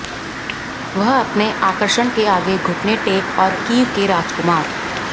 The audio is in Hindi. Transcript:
वह अपने आकर्षण के आगे घुटने टेक और कीव के राजकुमार